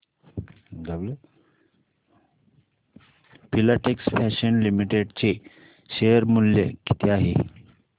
Filatex Fashions Limited चे share मूल्य किती आहे